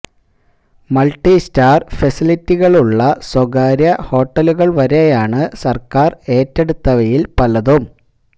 multi star ഫെസിലിറ്റികളുള്ള സ്വകാര്യ ഹോട്ടലുകൾ വരെയാണ് സർക്കാർ ഏറ്റെടുത്തവയിൽ പലതും